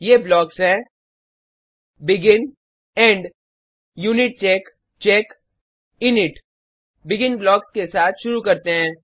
ये ब्लॉक्स हैं begin end unicheck check init begin blocks के साथ शुरु करते हैं